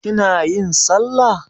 Kina yin sallah?